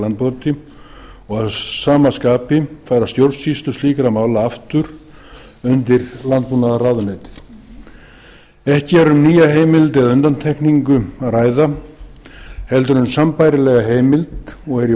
varnir gegn landbroti og að sama skapi færa stjórnsýslu slíkra mála aftur undir landbúnaðarráðuneytið ekki er um nýja heimild eða undantekningu að ræða heldur um sambærilega heimild og er í